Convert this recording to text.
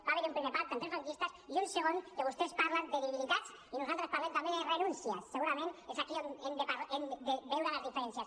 va haver hi un primer pacte entre franquistes i un de segon que vostès parlen de debilitats i nosaltres parlem també de renúncies segurament és aquí on hem de veure les diferències